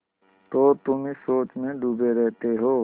तो तुम इस सोच में डूबे रहते हो